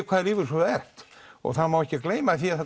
hvaða lífeyrissjóði þú ert og það má ekki gleyma því að það